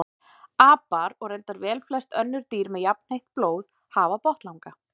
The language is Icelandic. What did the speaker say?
Apar og reyndar velflest önnur dýr með jafnheitt blóð hafa botnlanga.